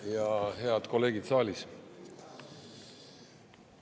Ja head kolleegid saalis!